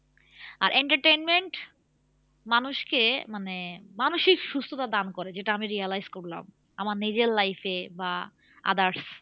আর entertainment মানুষকে মানে মানসিক সুস্থতা দান করে যেটা আমি realise করলাম আমার নিজের life এ বা others